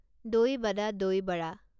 দৈ বাদা দই বড়া